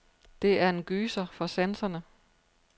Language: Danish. Det er en gyser for sanserne.